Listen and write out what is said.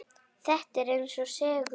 Þetta er eins og segull.